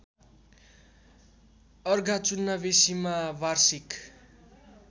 अर्घाचुन्नाबेसीमा वार्षिक